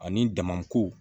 Ani damako